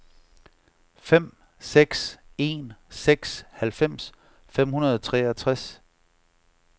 fem seks en seks halvfems fem hundrede og treogtres